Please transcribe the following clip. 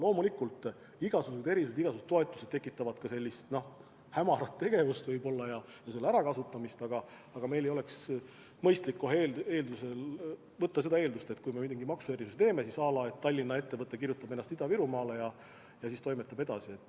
Loomulikult, igasugused erisused, igasugused toetused tekitavad võib-olla ka sellist hämarat tegevust ja selle ärakasutamist, aga meil ei oleks mõistlik kohe eeldada, et kui me mingi maksuerisuse teeme, siis mingi Tallinna ettevõte kirjutab ennast kohe Ida-Virumaale ja toimetab siis edasi.